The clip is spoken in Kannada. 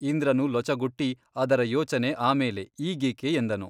ಇಂದ್ರನು ಲೊಚಗುಟ್ಟಿ ಅದರ ಯೋಚನೆ ಆಮೇಲೆ ಈಗೇಕೆ ಎಂದನು.